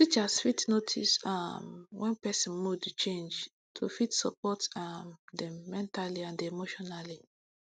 teachers fit notice um wen person mood change to fit support um dem mentally and emotionally